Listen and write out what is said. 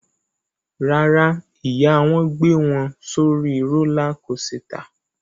Rárá, ìyá wọn gbé wọn sórí rólá kosità.